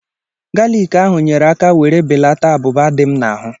Galiki ahụ nyere aka were belata abụba dị m n'ahụ